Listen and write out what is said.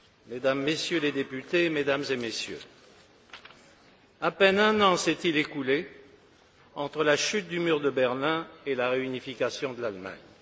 Mesdames et Messieurs les députés, Mesdames et Messieurs, à peine un an s'est il écoulé entre la chute du mur de Berlin et la réunification de l'Allemagne.